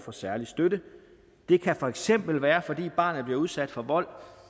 for særlig støtte det kan for eksempel være fordi barnet bliver udsat for vold